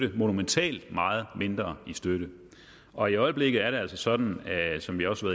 og monumentalt meget mindre i støtte og i øjeblikket er det altså sådan som vi også